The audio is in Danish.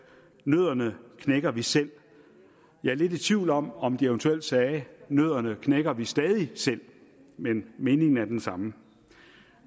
nødderne knækker vi selv jeg er lidt i tvivl om om de eventuelt sagde at nødderne knækker vi stadig selv men meningen er den samme